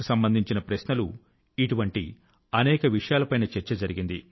సంబంధించిన ప్రశ్నలు ఇటువంటి అనేక విషయాల పైన చర్చ జరిగింది